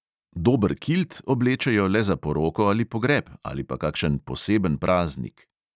Dober kilt oblečejo le za poroko ali pogreb ali pa kakšen poseben praznik.